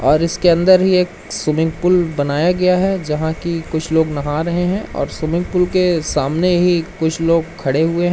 और इसके अंदर ही एक स्विमिंग पूल बनाया गया है जहां की कुछ लोग नहा रहे हैं और स्विमिंग पूल के सामने ही कुछ लोग खड़े हुए --